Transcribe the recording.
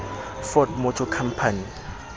ford motor company